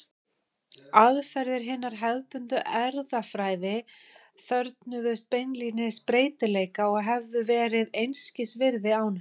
Aðferðir hinnar hefðbundnu erfðafræði þörfnuðust beinlínis breytileika og hefðu verið einskis virði án hans.